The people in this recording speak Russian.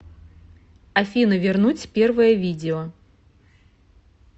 афина вернуть первое видео